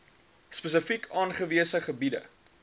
spesifiek aangewese gebiede